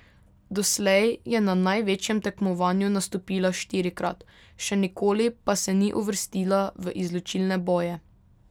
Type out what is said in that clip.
Doslej je na največjem tekmovanju nastopila štirikrat, še nikoli pa se ni uvrstila v izločilne boje.